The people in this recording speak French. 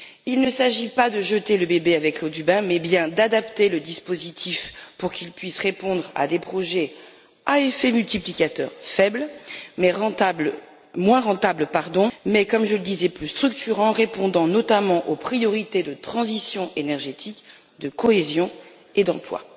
Il ne s'agit pas de jeter le bébé avec l'eau du bain, mais bien d'adapter le dispositif pour qu'il puisse répondre à des projets à effet multiplicateur faible et moins rentables, mais comme je le disais plus structurants, répondant notamment aux priorités de transition énergétique, de cohésion et d'emploi.